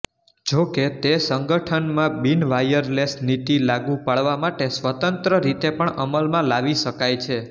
જોકે તે સંગઠનમાં બિનવાયરલેસ નીતિ લાગુ પાડવા માટે સ્વતંત્ર રીતે પણ અમલમાં લાવી શકાય છે